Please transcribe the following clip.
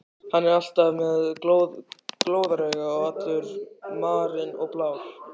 Hann er alltaf með glóðarauga og allur marinn og blár.